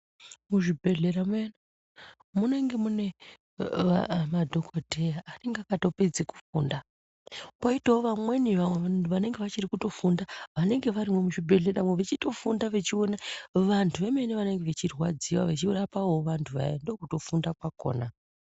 Muzvibhedhlera muyani, munenge munemadhokodheya anenge akatopedze kufunda. Poyitawo vamweni vanhu vanenge vachirikutofunda, vanenge variyo muzvibhedhlera, vechitofunda vechiwona vantu. Vamweni vanenge vechirwadziwa vechirapawo vantu vaya, ndokutofunda kwakhona.